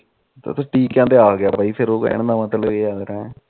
ਟੀਕਿਆ ਤੇ ਆਗਿਆ ਬਾਈ ਕਹਿਣ ਦਾ ਮਤਲਬ ਇਹ ਹੈ